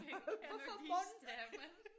Kender de stemmen